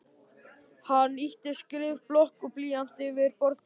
Hann ýtti skrifblokk og blýanti yfir borðplötuna.